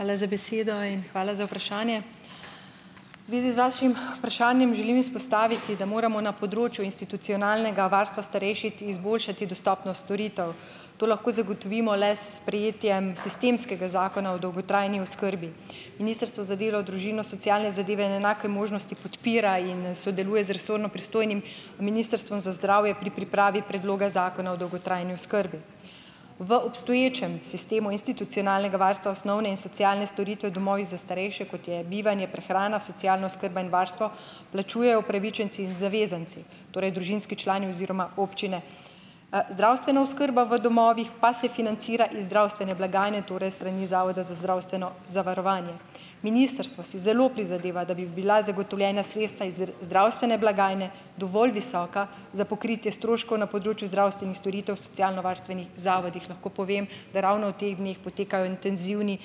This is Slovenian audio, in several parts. Hvala za besedo in hvala za vprašanje. V zvezi z vašim vprašanjem želim izpostaviti, da moramo na področju institucionalnega varstva starejših izboljšati dostopnost storitev. To lahko zagotovimo le s sprejetjem sistemskega Zakona o dolgotrajni oskrbi. Ministrstvo za delo, družino, socialne zadeve in enake možnosti podpira in, sodeluje z resorno pristojnim Ministrstvom za zdravje pri pripravi predloga zakona o dolgotrajni oskrbi. V obstoječem sistemu institucionalnega varstva osnovne in socialne storitve v domovih za starejše, kot je bivanje, prehrana, socialna oskrba in varstvo, plačujejo upravičenci in zavezanci, torej družinski člani oziroma občine. Zdravstvena oskrba v domovih pa se financira iz zdravstvene blagajne, torej s strani Zavoda za zdravstveno zavarovanje. Ministrstvo si zelo prizadeva, da bi bila zagotovljena sredstva iz zdravstvene blagajne dovolj visoka za pokritje stroškov na področju zdravstvenih storitev v socialnovarstvenih zavodih. Lahko povem, da ravno v teh dneh potekajo intenzivni,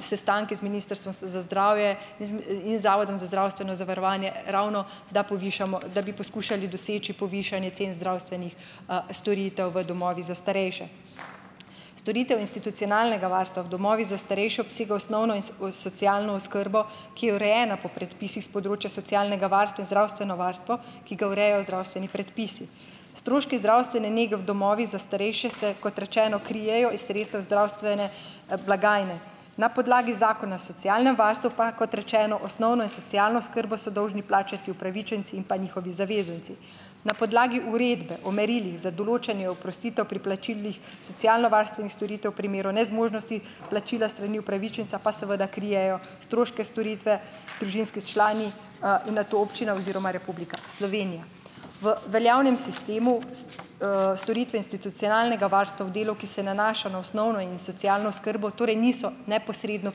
sestanki z Ministrstvom s za zdravje in z m, in Zavodom za zdravstveno zavarovanje, ravno, da povišamo, da bi poskušali doseči povišanje cen zdravstvenih, storitev v domovih za starejše. Storitev institucionalnega varstva v domovih za starejše obsega osnovno in socialno oskrbo, ki je urejena po predpisih s področja socialnega varstva, in zdravstveno varstvo, ki ga urejajo zdravstveni predpisi. Stroški zdravstvene nege v domovih za starejše se, kot rečeno, krijejo iz sredstev zdravstvene, blagajne. Na podlagi Zakona o socialnem varstvu pa, kot rečeno, osnovno in socialno oskrbo so dolžni plačati upravičenci in pa njihovi zavezanci. Na podlagi uredbe o merilih za določanje oprostitev pri plačilih socialnovarstvenih storitev v primeru nezmožnosti plačila s strani upravičenca pa seveda krijejo stroške storitve družinski člani, in nato občina oziroma Republika Slovenija. V veljavnem sistemu s, storitve institucionalnega varstva v delu, ki se nanaša na osnovno in socialno oskrbo, torej niso neposredno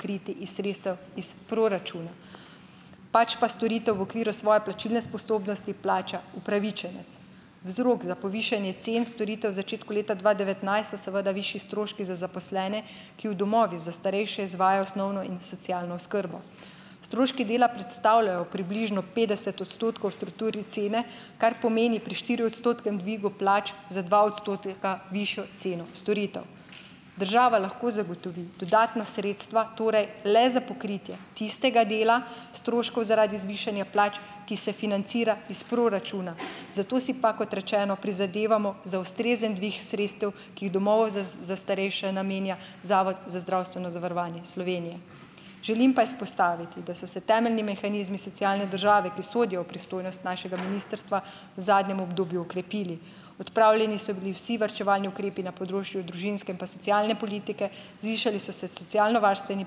kriti iz sredstev iz proračuna, pač pa storitev v okviru svoje plačilne sposobnosti plača upravičenec. Vzrok za povišanje cen storitev v začetku leta dva devetnajst so seveda višji stroški za zaposlene, ki v domovih za starejše izvajajo osnovno in socialno oskrbo. Stroški dela predstavljajo približno petdeset odstotkov v strukturi cene, kar pomeni pri štiriodstotnem dvigu plač za dva odstotka višjo ceno storitev. Država lahko zagotovi dodatna sredstva torej le za pokritje tistega dela stroškov zaradi zvišanja plač, ki se financira iz proračuna. Zato si pa, kot rečeno, prizadevamo za ustrezen dvig sredstev, ki v domovih za s, za starejše namenja Zavod za zdravstveno zavarovanje Slovenije. Želim pa izpostaviti, da so se temeljni mehanizmi socialne države, ki sodijo v pristojnost našega ministrstva, v zadnjem obdobju okrepili. Odpravljeni so bili vsi varčevalni ukrepi na področju družinske in pa socialne politike, zvišali so se socialnovarstveni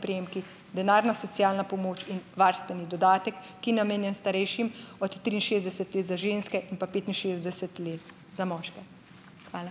prejemki, denarna socialna pomoč in varstveni dodatek, ki namenjen starejšim od triinšestdeset let za ženske in pa petinšestdeset let za moške. Hvala.